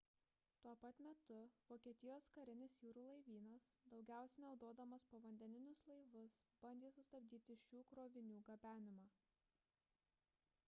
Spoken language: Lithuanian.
tuo pat metu vokietijos karinis jūrų laivynas daugiausiai naudodamas povandeninius laivus bandė sustabdyti šių krovinių gabenimą